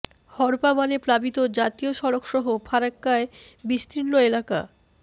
হড়পা বানে প্লাবিত জাতীয় সড়ক সহ ফরাক্কার বিস্তীর্ণ এলাকা